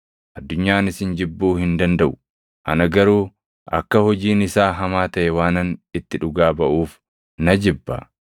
Addunyaan isin jibbuu hin dandaʼu; ana garuu akka hojiin isaa hamaa taʼe waanan itti dhugaa baʼuuf na jibba.